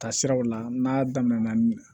Taa siraw la n'a daminɛna min ye